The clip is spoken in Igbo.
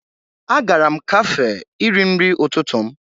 Agara m kafee iri nri ụtụtụ m